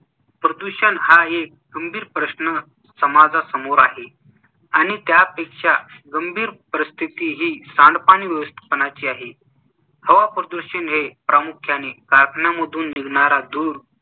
प्रदूषण हा एक गंभीर प्रश्न समाजासमोर आहे आणि त्यापेक्षा गंभीर परिस्थिती ही सांडपाणी व्यवस्थापनाची आहे. हवा प्रदूषण हे प्रामुख्याने कारखान्यांमधून निघणारा धूर